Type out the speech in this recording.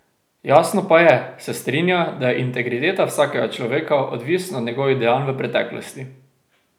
Jasno pa je, se strinja, da je integriteta vsakega človeka odvisna od njegovih dejanj v preteklosti.